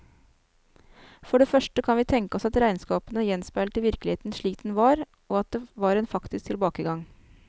For det første kan vi tenke oss at regnskapene gjenspeilte virkeligheten slik den var, og at det var en faktisk tilbakegang.